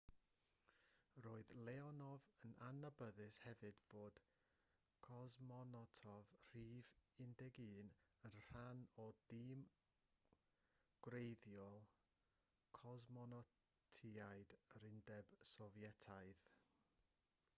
roedd leonov yn adnabyddus hefyd fel cosmonot rhif 11 yn rhan o dîm gwreiddiol cosmonotiaid yr undeb sofietaidd